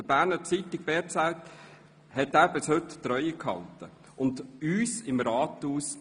Der «Berner Zeitung BZ» hielt er dann bis heute die Treue, ebenso wie uns hier im Rathaus.